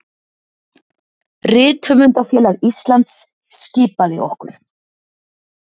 Rithöfundafélag Íslands skipaði okkur